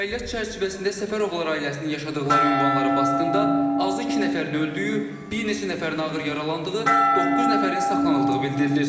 Əməliyyat çərçivəsində Səfərovlar ailəsinin yaşadıqları ünvanlara basqında azı iki nəfərin öldüyü, bir neçə nəfərin ağır yaralandığı, doqquz nəfərin saxlanıldığı bildirilir.